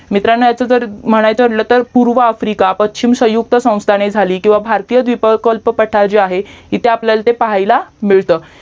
मित्रांनो आस जर म्हणायचा ठरला तर पूर्व आफ्रिका संयुक्त संस्थाने झाली किवा भारतीय विकल्प जे पट्टा जे आहे ते आपल्याला पाहायला मिळतं